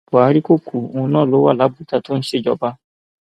buhari kò kú òun náà ló wà labujà tó ń ṣèjọba